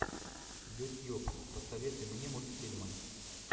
ютьюб посоветуй мне мультфильмы